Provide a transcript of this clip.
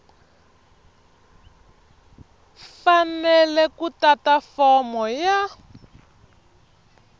fanele ku tata fomo ya